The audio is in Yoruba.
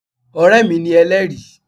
Ọ̀rẹ́ mi ni Elẹ́ẹ̀rí